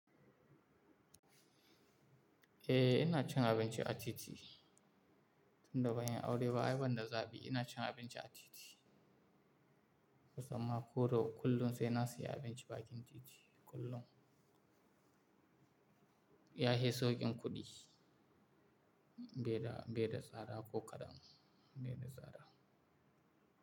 Eh ina cin abinci a titi tun da ban yi aure ba ai banda zaɓi ina cin abinci a titi. Kusan ma ko da kullum sai na siya abinci bakin titi kullum. Ya fi sauƙin kuɗi, beda beda tsada ko kaɗan beda tsara.